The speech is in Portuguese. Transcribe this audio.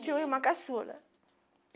Tinha uma irmã caçula.